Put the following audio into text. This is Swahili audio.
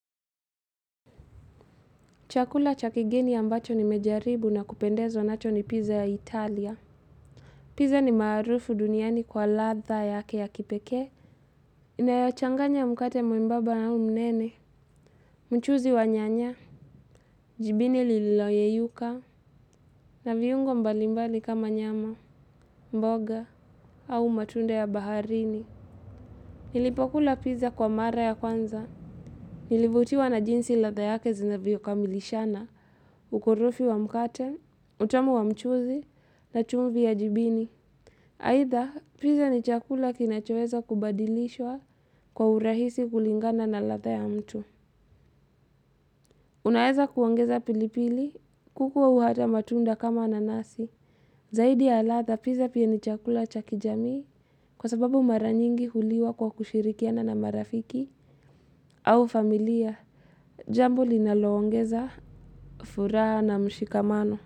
Chakula cha kigeni ambacho nimejaribu na kupendezwa nacho ni pizza ya Italia. Pizza ni maarufu duniani kwa latha yake ya kipekee. Inayochanganya mkate mwembaba au mnene. Mchuzi wa nyanya. Jibini lililoyeyuka. Na viungo mbalimbali kama nyama, mboga, au matunda ya baharini. Nilipokula pizza kwa mara ya kwanza. Nilivutiwa na jinsi latha yake zinavyo kamilishana. Ukurufi wa mkate, utamu wa mchuzi, na chumvi ya jibini. Haitha, pizza ni chakula kinachoweza kubadilishwa kwa urahisi kulingana na latha ya mtu. Unaeza kuongeza pilipili, kuku au hata matunda kama nanasi. Zaidi ya latha, pizza pia ni chakula cha kijamii. Kwa sababu maranyingi huliwa kwa kushirikiana na marafiki au familia, jambo linaloongeza furaha na mshikamano.